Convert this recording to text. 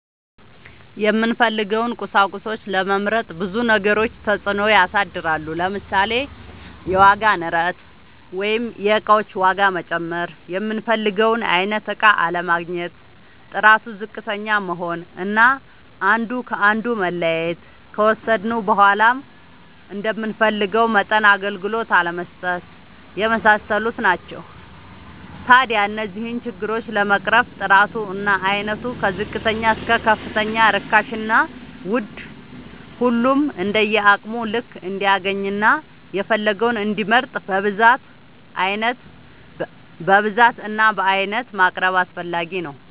የምንፈልገውን ቁሳቁሶች ለመምረጥ ብዙ ነገሮች ተፅእኖ ያሳድራሉ። ለምሳሌ፦ የዋጋ ንረት(የእቃዎች ዋጋ መጨመር)፣ የምንፈልገውን አይነት እቃ አለማግኘት፣ ጥራቱ ዝቅተኛ መሆን አና አንዱ ከአንዱ መለያየት፣ ከወሰድነውም በዃላ እንደምንፈልገው መጠን አገልግሎት አለመስጠት የመሳሰሉት ናቸው። ታዲያ እነዚህን ችግሮች ለመቅረፍ ጥራቱ እና አይነቱ ከዝቅተኛ እስከ ከፍተኛ ርካሽና ውድ ሁሉም እንደየአቅሙ ልክ እንዲያገኝና የፈለገውን እንዲመርጥ በብዛት እና በአይነት ማቅረብ አስፈላጊ ነው።